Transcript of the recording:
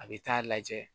A bɛ taa lajɛ